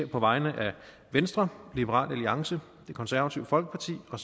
på vegne af venstre liberal alliance det konservative folkeparti og